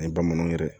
Ni bamananw yɛrɛ